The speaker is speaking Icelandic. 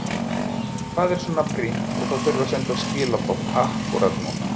Hvað er svo brýnt að það þurfi að senda skilaboð akkúrat núna?